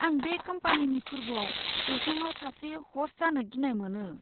आं बे कम्पानिनि फोर्बोआव जौसाङाव सासे ह'स्ट जानो गिनाय मोनो।